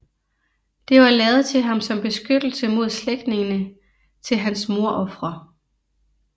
Det var lavet til ham som beskyttelse mod slægtningene til hans mordofre